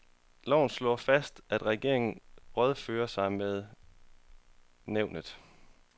Loven slår fast, at regeringen rådfører sig med nævnet.